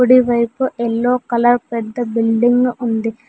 కుడివైపు yellow colour పెద్ద building ఉంది.